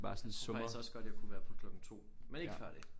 Jeg tror faktisk også jeg kunne være på klokken 2 men ikke før det